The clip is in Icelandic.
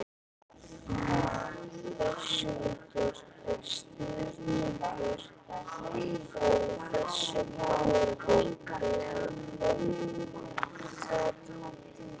Höskuldur: Er stuðningur fyrir þessu máli meðal þingmanna?